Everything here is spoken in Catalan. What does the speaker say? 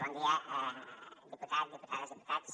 bon dia diputat diputades diputats